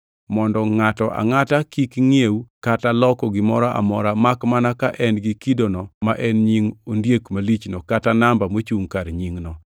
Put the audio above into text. mondo ngʼato angʼata kik ngʼiew kata loko gimoro amora, makmana ka en gi kidono ma en nying ondiek malichno kata namba mochungʼ kar nyingno.